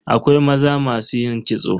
Akwai maza masu yin kitso.